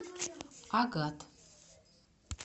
агат